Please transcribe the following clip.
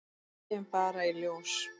Það kemur bara í ljós